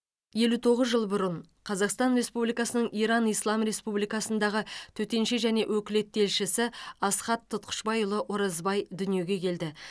елу тоғыз жыл бұрын қазақстан республикасының иран ислам республикасындағы төтенше және өкілетті елшісі асхат тұтқышбайұлы оразбай дүниеге келді